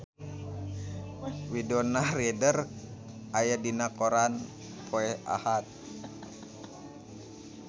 Winona Ryder aya dina koran poe Ahad